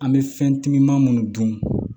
An bɛ fɛn timiman munnu dun